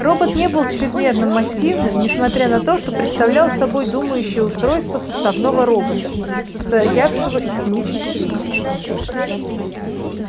робот не был чрезмерно массивным несмотря на то что представлял собой думающее устройство составного робота состоявшего из семи частей